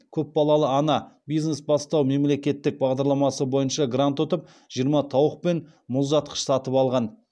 көпбалалы ана бизнес бастау мемлекеттік бағдарламасы бойынша грант ұтып жиырма тауық пен мұздатқыш сатып алған